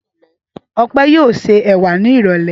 Ọpẹ́ yóò se ẹ̀wà ní ìrọ́lẹ́.